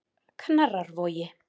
Knarrarvogi